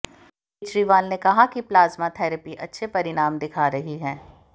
केजरीवाल ने कहा कि प्लाज्मा थेरेपी अच्छे परिणाम दिखा रही है